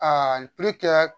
n pli kɛ